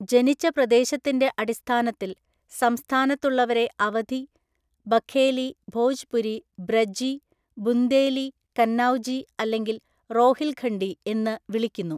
ജനിച്ച പ്രദേശത്തിന്‍റെ അടിസ്ഥാനത്തില്‍, സംസ്ഥാനത്തുള്ളവരെ അവധി, ബഘേലി, ഭോജ്പുരി, ബ്രജി, ബുന്ദേലി, കന്നൌജി അല്ലെങ്കിൽ റോഹിൽഖണ്ഡി എന്ന് വിളിക്കുന്നു.